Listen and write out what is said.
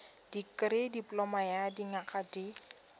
dikirii dipoloma ya dinyaga di